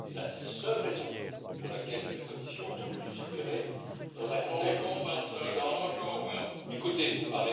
C'est la seule raison pour laquelle la Commission a entendu légiférer dans un contexte Écoutez, vous